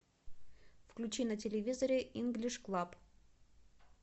включи на телевизоре инглиш клаб